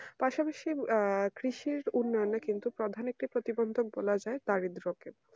প্রথমশীল কৃষির উন্নয়নের থেকে কিন্তু প্রধানত থেকে তারই বিপক্ষে